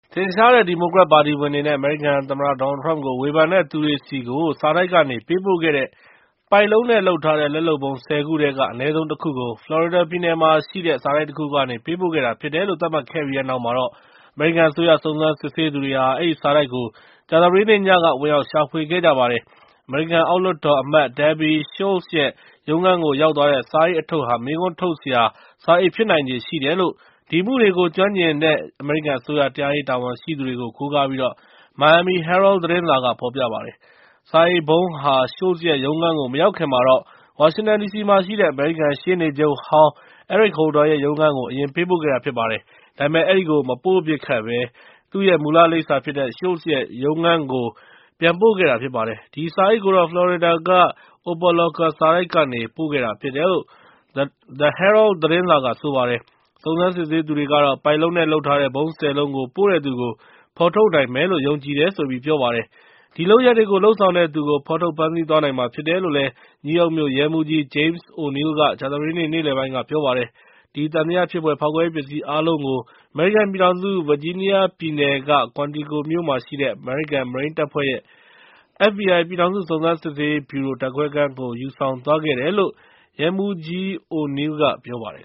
ထင်ရှားတဲ့ ဒီမိုကရက်ပါတီဝင်တွေနဲ့ အမေရိကန် သမ္မတဒေါ်နယ်ထရမ့်ကို ဝေဖန်တဲ့သူတွေဆီကို စာတိုက်ကနေ ပေးပိုခဲ့တဲ့ ပိုက်လုံးနဲ့လုပ်ထားတဲ့ လက်လုပ်ဗုံး ၁၀ ခုထဲက အနည်းဆုံး တခုကို ဖလော်ရီဒါပြည်နယ်မှာရှိတဲ့ စာတိုက်တခုကနေ ပေးပို့ခဲ့တာဖြစ်တယ်လို့ သတ်မှတ်ခဲ့ပြီးတဲ့နောက် အမေရိကန် အစိုးရစုံစမ်းစစ်ဆေးသူတွေဟာ အဲဒီစာတိုက်ကို ကြာသပတေးနေ့ညက ဝင်ရောက်ရှာဖွေခဲ့ကြပါတယ်။ အမေရိကန်အောက်လွှတ်တော်အမတ် Debbie Wasserman Schultz ရဲ့ ရုံးခန်းကိုရောက်သွားတဲ့ စာအိတ်အထုပ်ဟာ မေးခွန်းထုတ်စရာ စာအိတ်ဖြစ်နိုင်ချေရှိတယ်လို့ ဒီအမှုတွေကို ကျွမ်းကျင်တဲ့ အမေရိကန်အစိုးရ တရားရေးတာဝန်ရှိသူတွေကို ကိုးကားပြီး Miami Herald သတင်းစာက ဖော်ပြပါတယ်။ ဒီစာအိတ်ဗုံးဟာ Schultz ရဲ့ ရုံးခန်းကိုမရောက်ခင်ကတော့ ဝါရှင်တန်ဒီစီမှာရှိတဲ့ အမေရိကန်ရှေ့နေချုပ်ဟောင်း Eric Holder ရဲ့ ရုံးခန်းကို အရင်ပေးပို့ခဲ့တာဖြစ်ပါတယ်။ ဒါပေမဲ့ အဲဒီကို မပို့ဖြစ်ပဲ သူ့ရဲ့ မူလလိပ်စာဖြစ်တဲ့ Schultz ရဲ့ ရုံးခန်းကို ပြန်ပို့ခဲ့တာဖြစ်ပါတယ်။ ဒီစာအိတ်ကိုတော့ ဖလော်ရီဒါက Opa-locka စာတိုက်ကနေ ပေးပို့ခဲ့တာဖြစ်တယ်လို့ The Herald သတင်းစာက ဆိုပါတယ်။ စုံစမ်းစစ်ဆေးသူတွေကတော့ ပိုက်လုံးနဲ့လုပ်ထားတဲ့ ဗုံး ၁၀ လုံးကို ပို့တဲ့သူကို ဖော်ထုတ်နိုင်မယ်လို့ ယုံကြည်တယ်လို့ ပြောပါတယ်။ ဒီလုပ်ရပ်တွေကို လုပ်ဆောင်တဲ့သူ ဖော်ထုတ်ဖမ်းဆီးသွားနိုင်မှာဖြစ်တယ်လို့ နယူးယောက်မြို့ရဲမှူးကြီး James O’Neill က ကြာသပတေးနေ့ နေလယ်ပိုင်းက ပြောပါတယ်။ အဲဒီသံသယဖြစ်ဖွယ် ဖောက်ခွဲရေးပစ္စည်းအားလုံးကို အမေရိကန်ပြည်ထောင်စု ဗာဂျီးနီးယားပြည်နယ်က Quantico မြို့က အမေရိကန်မရိန်းတပ်ဖွဲ့ရဲ့ FBI ပြည်ထောင်စုစုံစမ်းစစ်ဆေးရေးဗြူရို ဓါတ်ခွဲခန်းကို ယူဆောင်သွားခဲ့တယ်လို့ ရဲမှူးကြီး O’Neill က ပြောပါတယ်